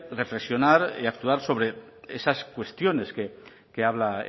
reflexionar y actuar sobre esas cuestiones que habla